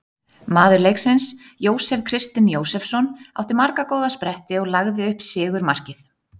Maður leiksins: Jósef Kristinn Jósefsson- átti marga góða spretti og lagði upp sigurmarkið.